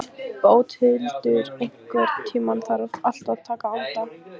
Bóthildur, einhvern tímann þarf allt að taka enda.